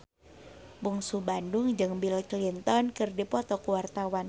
Bungsu Bandung jeung Bill Clinton keur dipoto ku wartawan